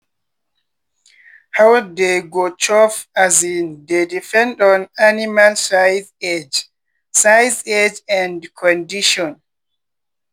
how dey go chop um dey depend on animal size age size age and condition.